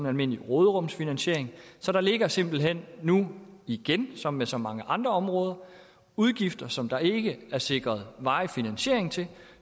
almindelig råderumsfinansiering så der ligger simpelt hen nu igen som der så mange andre områder udgifter som der ikke er sikret varig finansiering til og